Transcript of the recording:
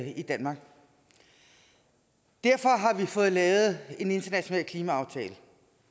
i danmark derfor har vi fået lavet en international klimaaftale